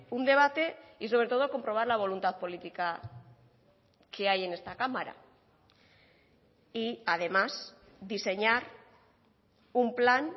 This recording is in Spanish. un debate y sobre todo comprobar la voluntad política que hay en esta cámara y además diseñar un plan